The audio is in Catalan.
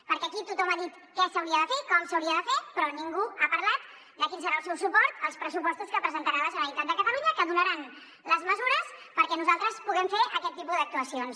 perquè aquí tothom ha dit què s’hauria de fer com s’hauria de fer però ningú ha parlat de quin serà el seu suport als pressupostos que presentarà la generalitat de catalunya que donaran les mesures perquè nosaltres puguem fer aquest tipus d’actuacions